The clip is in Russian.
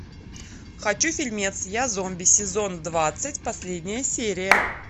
хочу фильмец я зомби сезон двадцать последняя серия